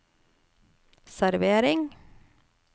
servering